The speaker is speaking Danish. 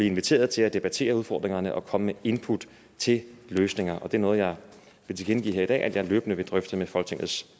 inviteret til at debattere udfordringerne og komme med input til løsninger og det er noget jeg vil tilkendegive her i dag at jeg løbende vil drøfte med folketingets